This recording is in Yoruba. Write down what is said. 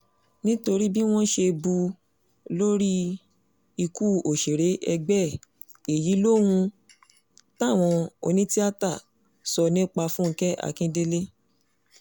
nítorí bí wọ́n ṣe bù ú lórí ikú òṣèré ẹgbẹ́ ẹ̀ èyí lohun táwọn onítìátà sọ nípa fúnkẹ́ akíndélé